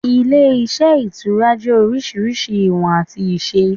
Ilé iṣẹ́ Ìtura jẹ́ orísirísi ìwọ̀n àti ìṣe